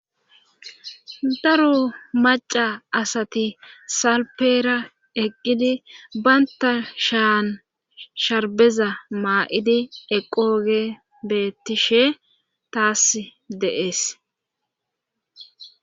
daro maca asati salpeera eqqidi baynta shaan sharbeza maa7idi eqooge beettishe taas deees